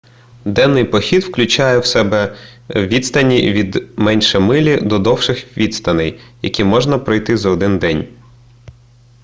денний похід включає в себе відстані від менше милі до довших відстаней які можна пройти за один день